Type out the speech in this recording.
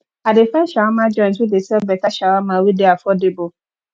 i dey find shawama joint wey dey sell beta shawama wey dey affordable